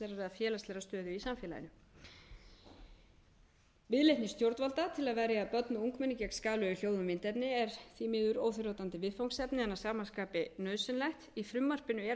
efnahagslegrar eða félagslegrar stöðu í samfélaginu viðleitni stjórnvalda til að verja börn og ungmenni gegn skaðlegu hljóð og myndefni er því miður óþrjótandi viðfangsefni en að sama skapi nauðsynlegt í í frumvarpinu er að